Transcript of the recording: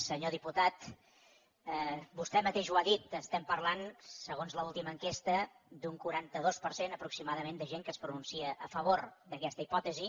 senyor diputat vostè mateix ho ha dit estem parlant segons l’última enquesta d’un quaranta dos per cent aproximadament de gent que es pronuncia a favor d’aquesta hipòtesi